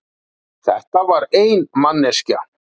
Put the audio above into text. Þetta var ein manneskja.